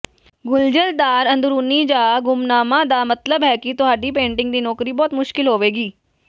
ਗੁੰਝਲਦਾਰ ਅੰਦਰੂਨੀ ਜਾਂ ਗੁੰਮਨਾਮਾ ਦਾ ਮਤਲਬ ਹੈ ਕਿ ਤੁਹਾਡੀ ਪੇਂਟਿੰਗ ਦੀ ਨੌਕਰੀ ਬਹੁਤ ਮੁਸ਼ਕਲ ਹੋਵੇਗੀ